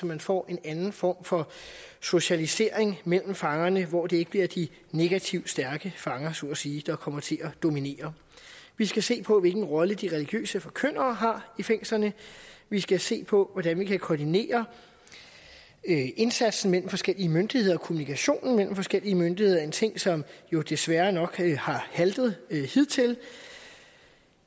man får en anden form for socialisering mellem fangerne hvor det ikke bliver de negativt stærke fanger så at sige der kommer til at dominere vi skal se på hvilken rolle de religiøse forkyndere har i fængslerne vi skal se på hvordan vi kan koordinere indsatsen mellem forskellige myndigheder kommunikationen mellem forskellige myndigheder en ting som jo desværre nok har haltet hidtil